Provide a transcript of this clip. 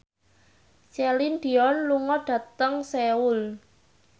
Celine Dion lunga dhateng Seoul